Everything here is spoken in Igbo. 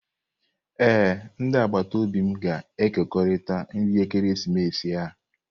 Ee, ndị agbata obi m ga-ekekọrịta nri ekeresimesi a.